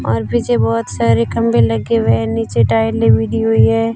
और पीछे बहोत सारे खंभे लगे हुए हैं नीचे टाइल लवी दी हुई है।